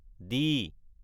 D